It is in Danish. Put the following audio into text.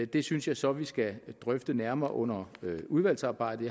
det synes jeg så at vi skal drøfte nærmere under udvalgsarbejdet